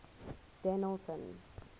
dennilton